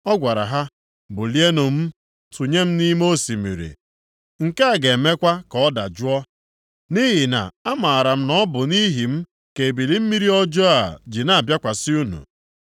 Ọ gwara ha, “Bulienụ m tụnye nʼime osimiri. Nke a ga-emekwa ka ọ dajụọ. Nʼihi na amaara m na ọ bụ nʼihi m ka ebili mmiri ọjọọ a ji na-abịakwasị unu.”